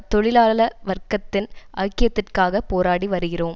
தொழிலாள வர்க்கத்தின் ஐக்கியத்திற்காக போராடி வருகிறோம்